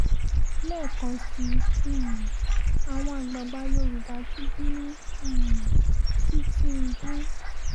lẹ́ẹ̀kan sí um àwọn àgbààgbà yorùbá tún bínú um sí tìǹbù